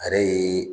A yɛrɛ ye